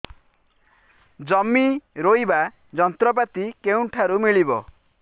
ଜମି ରୋଇବା ଯନ୍ତ୍ରପାତି କେଉଁଠାରୁ ମିଳିବ